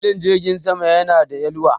Filin jirgin sama yana da yalwa